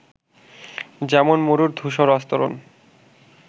যেমন মরুর ধূসর আস্তরন